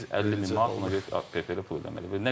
Biz 50 min manat ona görə PFL-ə pul ödəməliyik.